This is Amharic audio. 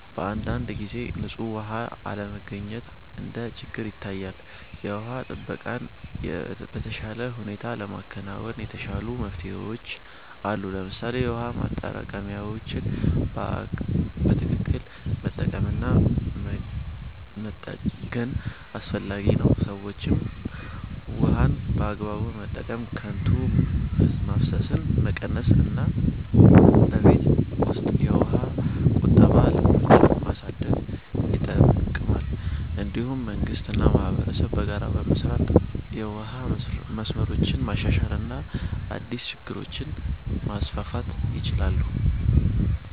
በአንዳንድ ጊዜ ንጹህ ውሃ አለመገኘት እንደ ችግር ይታያል። የውሃ ጥበቃን በተሻለ ሁኔታ ለማከናወን የተሻሉ መፍትሄዎች አሉ። ለምሳሌ የውሃ ማጠራቀሚያዎችን በትክክል መጠቀም እና መጠገን አስፈላጊ ነው። ሰዎችም ውሃን በአግባቡ መጠቀም፣ ከንቱ ማፍሰስን መቀነስ እና በቤት ውስጥ የውሃ ቁጠባ ልምዶችን ማሳደግ ይጠቅማል። እንዲሁም መንግስት እና ማህበረሰብ በጋራ በመስራት የውሃ መስመሮችን ማሻሻል እና አዲስ ፕሮጀክቶችን ማስፋፋት ይችላሉ።